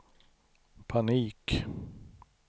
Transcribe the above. panik